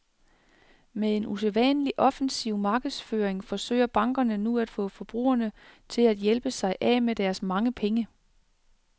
Med en usædvanlig offensiv markedsføring forsøger bankerne nu at få forbrugerne til at hjælpe sig af med deres mange penge.